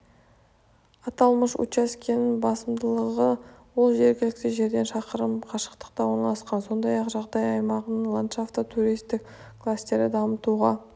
аталмыш учаскенің басымдылығы ол жергілікті жерден шақырым қашықтықта орналасқан сондай-ақ жағажай аймағының ландшафты туристік кластерді дамытуға